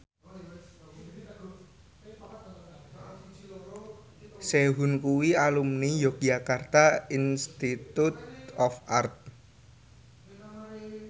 Sehun kuwi alumni Yogyakarta Institute of Art